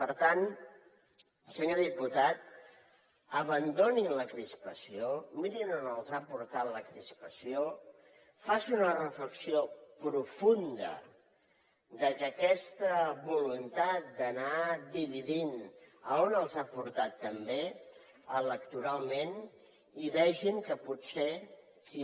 per tant senyor diputat abandonin la crispació mirin on els ha portat la crispació facin una reflexió profunda sobre aquesta voluntat d’anar dividint on els ha portat també electoralment i vegin que potser qui